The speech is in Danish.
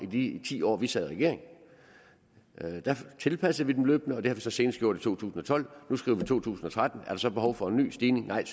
af de ti år vi sad i regering der tilpassede vi dem løbende og det har vi så senest gjort i to tusind og tolv nu skriver vi to tusind og tretten er der så behov for en ny stigning nej